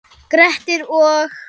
Grettir og